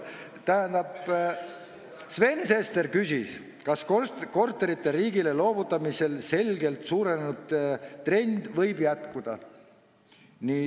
Tähendab, Sven Sester küsis, kas korterite riigile loovutamise selgelt suurenenud trend võib jätkuda.